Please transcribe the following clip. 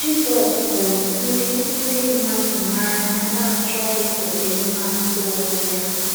Jizọs hụrụ ndị ndị mmadụ n’anya n’achọghị ọdịmma nke onwe ya.